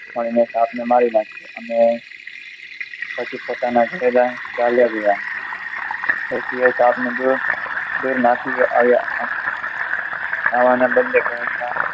સાપ ને મારી નાખ્યો અને પછી પોતાના ઘરે ચાલ્યા ગયા ડોશી એ સાપને જોયો દૂર નાખી આવ્યા આવાના બદલે